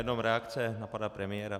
Jenom reakce na pana premiéra.